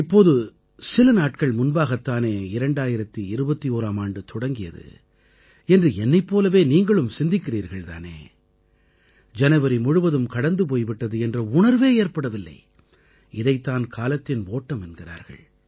இப்போது சில நாட்கள் முன்பாகத் தானே 2021ஆம் ஆண்டு தொடங்கியது என்று என்னைப் போலவே நீங்களும் சிந்திக்கிறீர்கள் தானே ஜனவரி முழுவதும் கடந்து போய் விட்டது என்ற உணர்வே ஏற்படவில்லை இதைத் தான் காலத்தின் ஓட்டம் என்கிறார்கள்